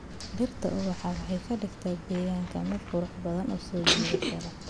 Dhirta ubaxa waxay ka dhigaan deegaanka mid qurux badan oo soo jiidasho leh.